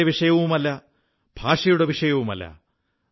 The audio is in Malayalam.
പുസ്തകത്തിലെ വിഷയവുമല്ല ഭാഷയുടെ വിഷയവുമല്ല